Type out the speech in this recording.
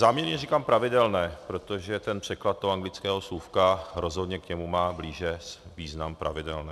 Záměrně říkám pravidelné, protože v překladu toho anglického slůvka rozhodně k němu má blíže význam pravidelné.